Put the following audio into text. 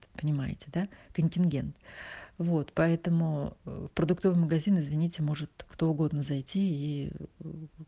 понимаете да контингент вот поэтому в продуктовый магазин извините может кто угодно зайти и